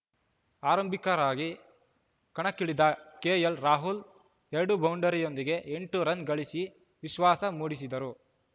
ಆರಂಭಿಕರಾಗಿ ಕಣಕ್ಕಿಳಿದ ಕೆಎಲ್‌ರಾಹುಲ್‌ ಎರಡು ಬೌಂಡರಿಯೊಂದಿಗೆ ಎಂಟು ರನ್‌ ಗಳಿಸಿ ವಿಶ್ವಾಸ ಮೂಡಿಸಿದರು